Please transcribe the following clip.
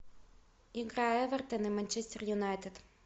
игра эвертон и манчестер юнайтед